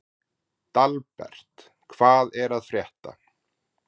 Dalbert, hvað er að frétta?